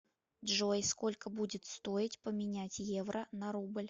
джой сколько будет стоить поменять евро на рубль